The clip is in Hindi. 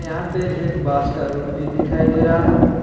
यहां पे एक बांस का रुख भी दिखाई दे रहा है।